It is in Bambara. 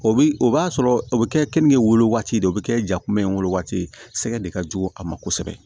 O bi o b'a sɔrɔ o bɛ kɛ keninge wolo waati de o bɛ kɛ ja kunbɛ in wolo waati de sɛgɛ de ka jugu a ma kosɛbɛ